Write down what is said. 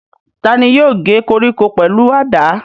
Ta ni yóò gé koríko pẹ̀lú àdá?